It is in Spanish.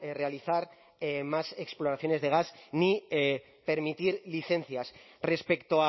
realizar más exploraciones de gas ni permitir licencias respecto